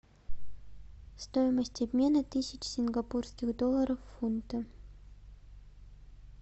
стоимость обмена тысяч сингапурских долларов в фунты